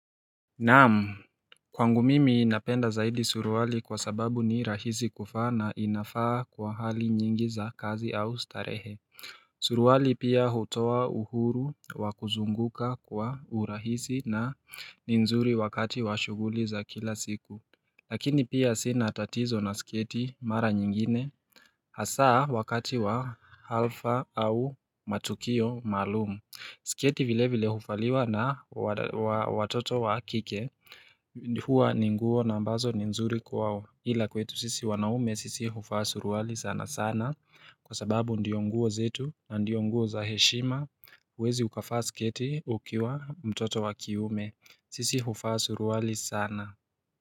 Naam kwangu mimi ninapenda zaidi suruali kwa sababu ni rahisi kufaa na inafaa kwa hali nyingi za kazi au starehe Suruali pia hutowa uhuru wa kuzunguka kwa urahisi na nzuri wakati wa shuguli za kila siku Lakini pia sina tatizo na sketi mara nyingine Hasaa wakati wa alfa au matukio maalumu Siketi vile vile hufaliwa na watoto wa kike huwa ni nguo na ambazo ni nzuri kwao ila kwetu sisi wanaume sisi hufaa suruali sana sana Kwa sababu ndiyo nguo zetu na ndiyo nguo za heshima huwezi ukafaa sketi ukiwa mtoto wa kiume sisi hufaa suruali sana.